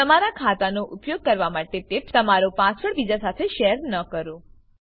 તમારા ખાતાનો ઉપયોગ કરવા માટે ટીપ્સ તમારો પાસવર્ડ બીજા સાથે શેર ન કરો